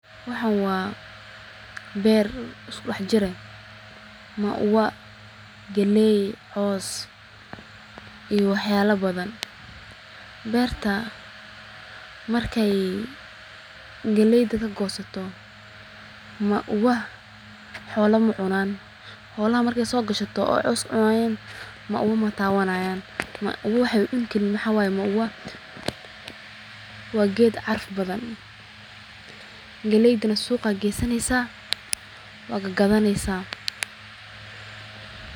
Waxan waa beer isku dhax jir eh, mauwa galey, cows iyo wax yala badan ,beerta markay galeyda kagoosato mauwah xoolaha ma cunan, xoolaha marka soo gashato oo cows cunayin mauawa matabanayiin mauwa waxay ucuni karin maxa way mauwa waa ged caraf badan, galleyda suqa geesaneysa waa gagadaneysa